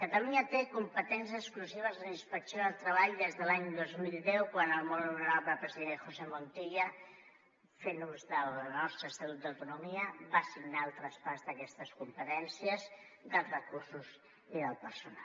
catalunya té competències exclusives en inspecció de treball des de l’any dos mil deu quan el molt honorable president josé montilla fent ús del nostre estatut d’autonomia va signar el traspàs d’aquestes competències dels recursos i del personal